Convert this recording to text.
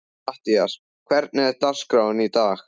Mattías, hvernig er dagskráin í dag?